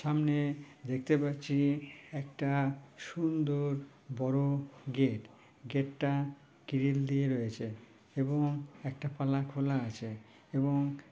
সামনে দেখতে পাচ্ছি একটা সুন্দর বড় গেট । গেট টা গ্রিল দিয়ে রয়েছে। এবং একটা পাল্লা খোলা আছে এবং--